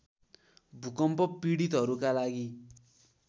भूकम्प पीडितहरूका लागि